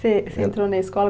Você, você entrou na escola?